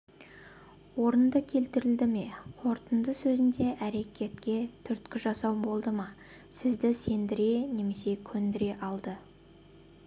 орынды келтірілді ме қорытынды сөзінде әрекетке түрткі жасау болды ма сізді сендіре немесе көндіре алды